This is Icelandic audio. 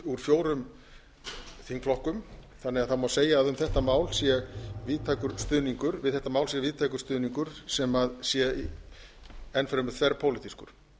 úr fjórum þingflokkum þannig að það má segja um þetta mál sé víðtækur stuðningur við þetta mál sé víðtækur stuðningur sem sé enn fremur þverpólitískur